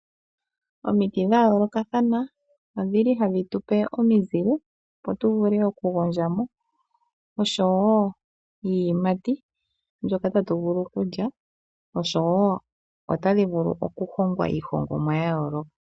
Omiti dhayolo kathana odhili hadhi tupe omizile opo tuvule okugondjamo oshowo iiyimati mbyoka tatu vulu okulya oshowo otadhi vulu okuhongwa iihongomwa yayoloka.